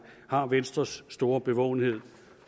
har venstres store bevågenhed